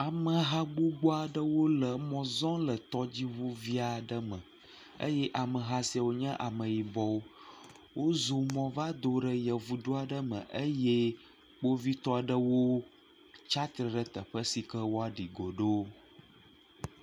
Ameha gbogbo aɖewo le emɔ zɔm le tɔdziŋuvi aɖe me eye ameha siwo nye ameyibɔwo. Wozɔ mɔ va do ɖe yevudu aɖe me eye kpovitɔwo tsiatre ɖe afi si woaɖi go ɖo.